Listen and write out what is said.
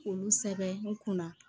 K'olu sɛbɛn n kun na